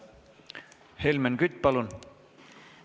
Helmen Kütt, palun!